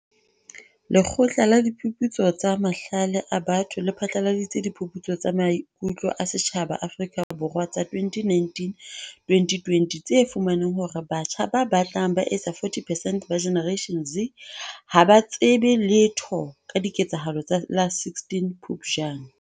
Lekgotla la Diphuputso tsa Mahlale a Batho le phatlaladitse Diphuputso tsa Maiku tlo a Setjhaba Afrika Borwa tsa 2019-2020 tse fumaneng hore batjha ba batlang ba etsa 40 percent ba Generation Z ha ba tsebe letho ka diketsahalo tsa la 16 Phupjane.